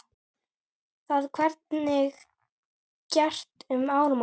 Það verði gert um áramót.